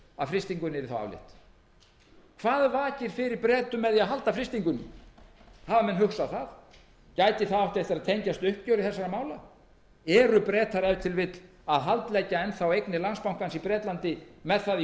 að frystingunni yrði þá aflétt hvað vakir fyrir bretum með því að halda frystingunni hafa menn hugsað það gæti það átt eftir að tengjast uppgjöri þessara mála haldleggja bretar ef til vill enn þá eignir landsbankans í bretlandi með það í